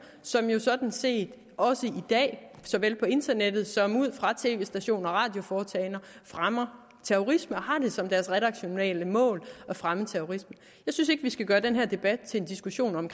som jo sådan set også i dag såvel på internettet som ud fra tv stationer og radioforetagender fremmer terrorisme og har det som deres redaktionelle mål at fremme terrorisme jeg synes ikke vi skal gøre den her debat til en diskussion om